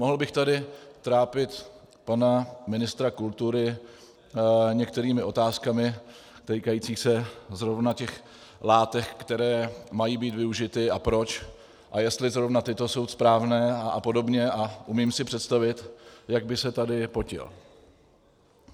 Mohl bych tady trápit pana ministra kultury některými otázkami týkajícími se zrovna těch látek, které mají být využity, a proč, a jestli zrovna tyto jsou správné a podobně, a umím si představit, jak by se tady potil.